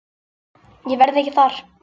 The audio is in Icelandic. Ég verð ekki þar.